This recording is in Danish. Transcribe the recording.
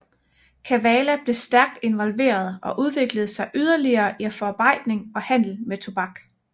Kavala blev stærkt involveret og udviklede sig yderligere i forarbejdning og handel med tobak